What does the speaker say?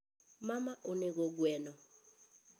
Mama nonego gweno